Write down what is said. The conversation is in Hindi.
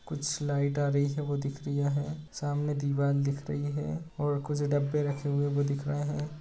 कुछ लाइट आ रही वो दिख रिया है सामने दीवाल दिख रही है और कुछ डब्बे रखे हुए वो दिख रहे है।